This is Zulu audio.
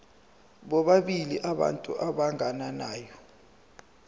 bobabili abantu abagananayo